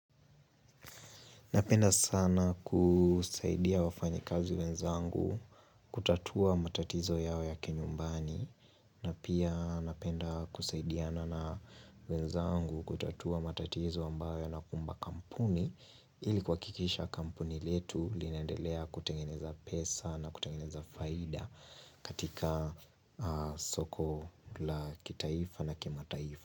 Napenda sana kusaidia wafanya kazi wenzangu kutatua matatizo yao ya kinyumbani na pia napenda kusaidiana na wenzangu kutatua matatizo ambayo yanakumba kampuni Ilikuhakikisha kampuni letu linaendelea kutengeneza pesa na kutengeneza faida katika soko la kitaifa na kimataifa.